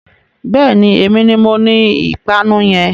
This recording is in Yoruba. Bẹ́ẹ̀ni, èmi ni moní ìpanu yẹn.